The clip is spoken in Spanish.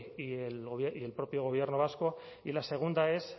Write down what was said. y el propio gobierno vasco y la segunda es